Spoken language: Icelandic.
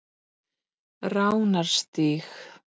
Ránarstíg